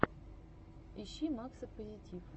ищи макса позитив